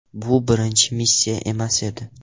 Bu birinchi missiya emas edi.